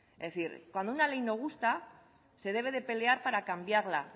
es decir cuando una ley no gusta se debe de pelear para cambiarla